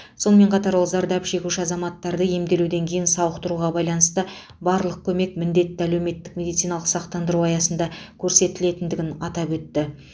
сонымен қатар ол зардап шегуші азаматты емделуден кейін сауықтыруға байланысты барлық көмек міндетті әлеуметтік медициналық сақтандыру аясында көрсетілетіндігін атап өтті